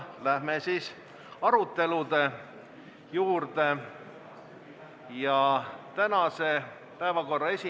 Läheme tänase päevakorra juurde.